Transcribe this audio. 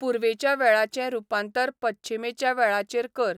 पूर्वेच्या वेळाचें रुपांतर पच्छिमेच्या वेळाचेर कर